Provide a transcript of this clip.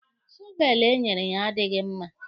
Shọveelụ enyere ya adịghị mma.